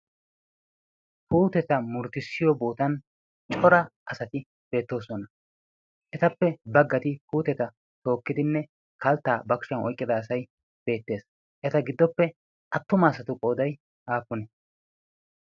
kuuteta murttissiyo bootan cora asati beettoosona etappe baggati kuuteta tookkidinne kalttaa bakshuyan oiqqida asai beettees. eta giddoppe attuma asatu qoodai aafune?